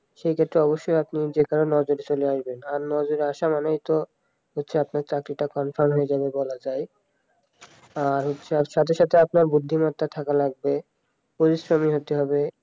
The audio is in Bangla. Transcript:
সে ক্ষেত্রে অবশ্যই আপনি যে কোন কারো নজরে চলে আসবেন আর নজরে আসা মানেই তো আপনার চাকরিটা confirm হয়ে যাবে তার সাথে সাথে আপনাকে বুদ্ধিমত্তা থাকতে হবে পরিশ্রমী হতে হবে